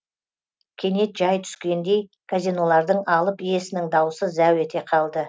кенет жай түскендей казинолардың алып иесінің даусы зәу ете қалды